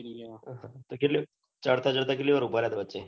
તો કેટલીક ચડતા ચડતા કેટલી વાર ઉભા રહ્યા તા વચે